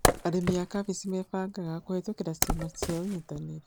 Arĩmi a kambĩji mebangaga kũhĩtukĩra ciama cia ũnyitanĩri